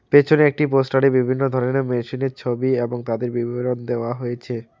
পেছনে একটি পোস্টারে বিভিন্ন ধরনে মেশিনের ছবি এবং তাদের বিবরণ দেওয়া হয়েছে।